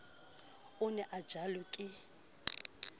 o ne a jelwe ke